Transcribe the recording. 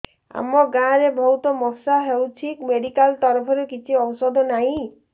ଆମ ଗାଁ ରେ ବହୁତ ମଶା ହଉଚି ମେଡିକାଲ ତରଫରୁ କିଛି ଔଷଧ ନାହିଁ